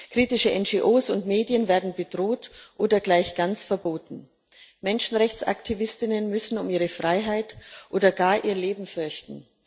Kritische NGO und Medien werden bedroht oder gleich ganz verboten. Menschenrechtsaktivistinnen und Menschenrechtsaktivisten müssen um ihre Freiheit oder gar ihr Leben fürchten.